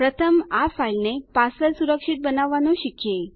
પ્રથમ આ ફાઈલને પાસવર્ડ સુરક્ષિત બનાવવાનું શીખીએ